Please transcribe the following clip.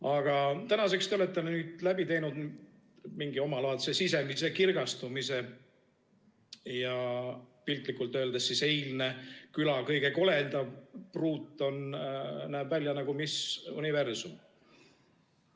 Aga tänaseks te olete läbi teinud mingi omalaadse sisemise kirgastumise ja piltlikult öeldes eilne küla kõige koledam pruut näeb välja nagu Miss Universum.